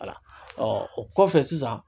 o kɔfɛ sisan